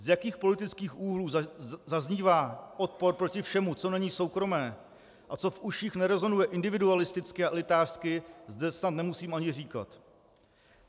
Z jakých politických úhlů zaznívá odpor proti všemu, co není soukromé a co v uších nerezonuje individualisticky a elitářsky, zde snad nemusím ani říkat.